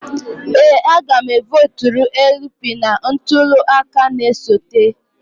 Ee a ga m e votụrụ LP na ntuli aka na-esote